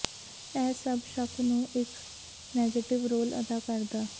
ਇਹ ਸਭ ਸ਼ੱਕ ਨੂੰ ਇੱਕ ਨੈਗੇਟਿਵ ਰੋਲ ਅਦਾ ਕਰਦਾ